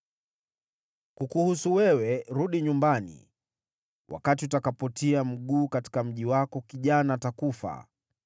“Kukuhusu wewe, rudi nyumbani. Wakati utakapotia mguu katika mji wako, kijana atakufa.